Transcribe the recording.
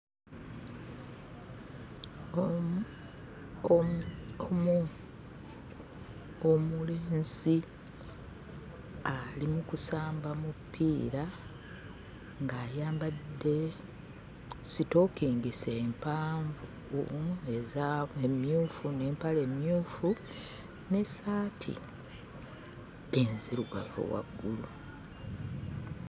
Omu omu omulenzi ali mu kusamba mupiira ng'ayambadde sitookingisi empanvu umm eza mu mmyufu n'empale emmyufu n'essaati enzirugavu waggulu.